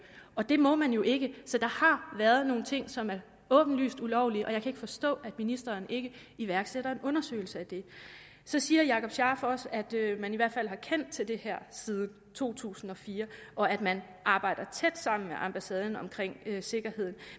og det må man jo ikke så der har været nogle ting som er åbenlyst ulovlige og jeg kan ikke forstå at ministeren ikke iværksætter en undersøgelse af det så siger jakob scharf også at man i hvert fald har kendt til det her siden to tusind og fire og at man arbejder tæt sammen med ambassaden om sikkerheden